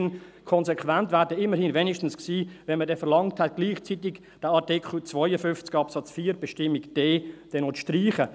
Konsequent wäre dann immerhin gewesen, wenn man gleichzeitig verlangt hätte, Artikel 52 Absatz 4 Buchstabe d zu streichen.